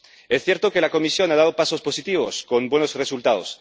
Es cierto que la Comisión ha dado pasos positivos, con buenos resultados.